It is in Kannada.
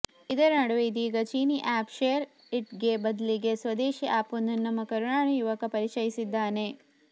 ಇದರ ನಡುವೆ ಇದೀಗ ಚೀನಿ ಆಪ್ ಶೇರ್ ಇಟ್ಗೆ ಬದಲಿಗೆ ಸ್ವದೇಶಿ ಆಪ್ ಒಂದನ್ನ ನಮ್ಮ ಕರುನಾಡಿನ ಯುವಕ ಪರಿಚಯಿಸಿದ್ದಾನೆ